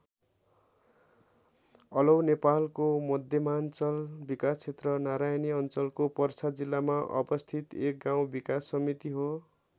अलौ नेपालको मध्यमाञ्चल विकासक्षेत्र नारायणी अञ्चलको पर्सा जिल्लामा अवस्थित एक गाउँ विकास समिति हो।